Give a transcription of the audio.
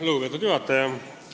Lugupeetud juhataja!